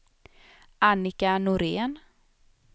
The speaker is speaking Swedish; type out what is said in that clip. Annika Norén